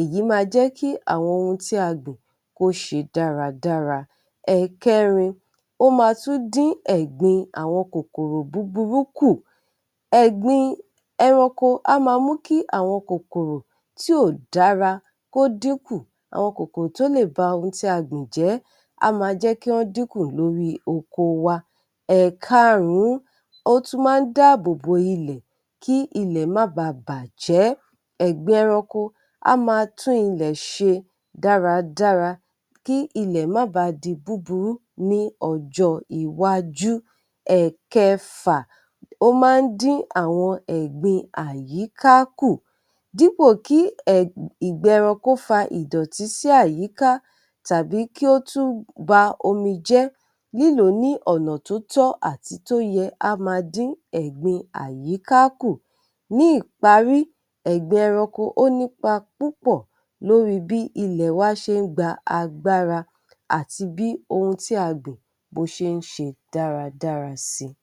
èyí máa jẹ́ kí àwọn ohun tí a gbìn kó ṣe dáradára. Ẹ̀ẹ̀kẹrin, ó máa tún dín ẹgbin àwọn kòkòrò búburú kù; ẹ̀gbin ẹranko á máa mú kí àwọn kòkòrò tí ò dára kó dín kù, àwọn kòkòrò tó lè ba ohun tí a gbìn jẹ́, á máa jẹ́ kí wọ́n dínkù lórí oko wa. Ẹ̀ẹ̀karún-ún, ó tú máa ń dáàbò bo ilẹ̀, kí ilẹ̀ má báa bàjẹ́́; ẹ̀̀gbin ẹranko á máa tún ilẹ̀ ṣe dáradára, kí ilẹ̀ má ba di búburú ní ọjọ́ iwájú. Ẹ̀ẹ̀kẹfà, ó máa ń dín àwọn ẹ̀gbin àyíká kù; dípò kí ìgbẹ ẹranko fa ìdọ̀tí sí àyíká tàbí kí ó tún ba omi jẹ́, lílò ó ní ọ̀nà tó tọ́ àti tó yẹ, á máa dín ẹ̀gbin àyíká kù. Ní ìparí, ẹ̀gbin ẹranko, ó nípa púpọ̀ lóri bí ilẹ̀ wá ṣé ń gba agbára àti bí ohun tí a gbìn, bó ṣé ń ṣe dáradára si.